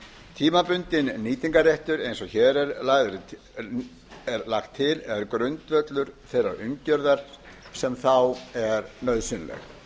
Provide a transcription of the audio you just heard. tímabundinn nýtingarréttur eins og hér er lagt til er grundvöllur þeirrar umgjörðar sem þá er nauðsynleg